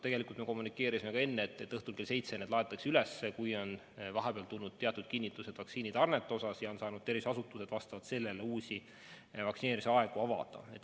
Tegelikult me kommunikeerisime, et õhtul kell seitse need ajad laetakse üles, kui on vahepeal tulnud teatud kinnitused vaktsiinitarnete osas ja terviseasutused on saanud vastavalt sellele uusi vaktsineerimise aegu avada.